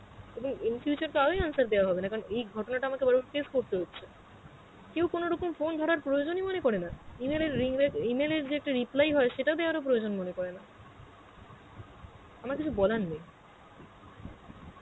তবে in future তো আরোই কিছু answer দেওয়া হবে না, এই ঘটনাটা আমাকে বার বার face করতে হচ্ছে কেউ কোনরকম phone ধরার প্রয়োজন ই মনে করে না E-mail এর ring back, E-mail এর যে একটা reply হয় সেটা দেওয়ার ও কোনো প্রয়োজন মনে করে না, আমার কিছু বলার নেই.